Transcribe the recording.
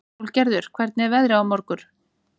Sólgerður, hvernig er veðrið á morgun?